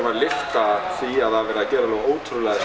að lyfta því að það er verið að gera ótrúlega